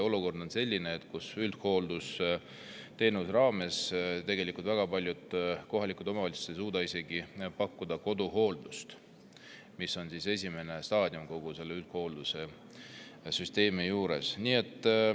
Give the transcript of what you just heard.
Olukord on selline, kus üldhooldusteenuse raames ei suuda väga paljud kohalikud omavalitsused pakkuda isegi koduhooldust, mis on esimene staadium kogu selles üldhoolduse süsteemis.